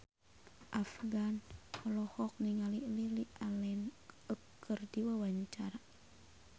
Afgan olohok ningali Lily Allen keur diwawancara